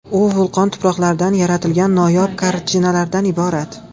U vulqon tuproqlaridan yaratilgan noyob kartinalardan iborat.